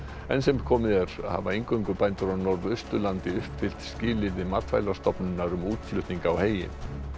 enn sem komið er hafa eingöngu bændur á Norðausturlandi uppfyllt skilyrði Matvælastofnunar um útflutning á heyi